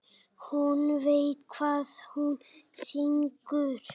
Hún veit hvað hún syngur.